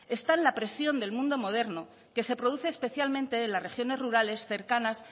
está en la presión del mundo moderno que se produce especialmente en las regiones rurales cercanas